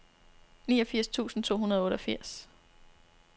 niogfirs tusind to hundrede og otteogfirs